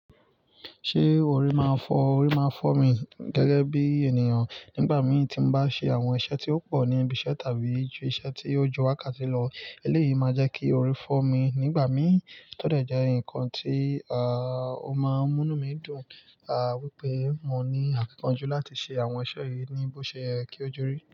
Ṣé orí máa fọ́, orí máa fọ́ mi gẹ́gẹ́ bí ènìyàn nígbà mí tí n bá ṣe àwọn iṣẹ́ tí ó pọ̀ ní ibi iṣẹ́ tàbí ise ti o ju wákàtí lọ. Eléyìí máa jẹ́ kí orí fọ́ mi nígbà mí, tó de je ǹkan tí, à, ó máa ń mú inu mí dùn, à, wípé mo ní àfikún ojú láti ṣe àwọn iṣẹ́ yìí ní bó ṣe kí ó ju rí.